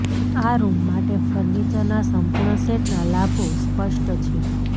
આ રૂમ માટે ફર્નિચરના સંપૂર્ણ સેટના લાભો સ્પષ્ટ છે